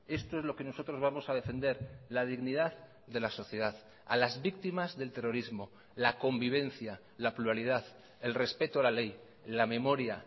esto es lo que nosotros vamos a defender la dignidad de la sociedad a las víctimas del terrorismo la convivencia la pluralidad el respeto a la ley la memoria